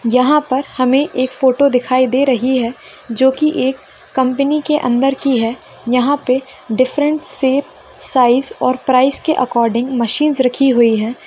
यहां पर हमें एक फोटो दिखाई दे रही है जो की एक कंपनी के अंदर की है यहां पर डिफरेंट शेप साइज और प्राइस के अकॉर्डिंग मशीनस रखी हुई है।